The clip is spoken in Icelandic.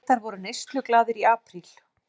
Bretar voru neysluglaðir í apríl